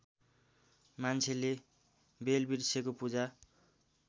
मान्छेले बेलवृक्षको पूजा